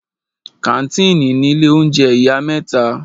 Kàńtìnì ni ilé oúnjẹ ìyá mẹ́ta.